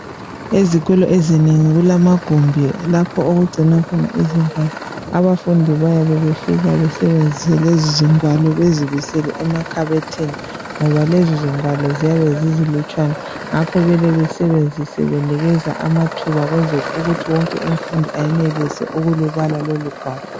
Ezikolo ezinengi kulamagumbi lapho okugcinwa khona izigwalo abafundi bayabe befika besebenzise lezizigwalo bezibisele emakhabothini ngoba lezizigwalo ziyabe zizilutshwana ngakho kumele besebenzise binikeza amathuba ukwenzela ukuthi wonke umfundi enelise ukulubala lolugwalo